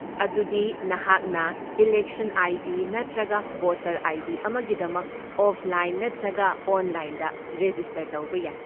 ꯑꯗꯨꯗꯤ ꯅꯍꯥꯛꯅ election ID. ꯅꯠꯇ꯭ꯔꯒ ꯚꯣꯇꯔ ꯑꯥꯏ.ꯗꯤ. ꯑꯃꯒꯤꯗꯃꯛ ꯑꯣꯐꯂꯥꯏꯟ ꯅꯠꯇ꯭ꯔꯒ ꯑꯣꯟꯂꯥꯏꯟꯗ ꯔꯦꯖꯤꯁꯇꯔ ꯇꯧꯕ ꯌꯥꯏ ꯫